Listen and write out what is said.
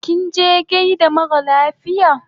Kinje gaida mara lafiya?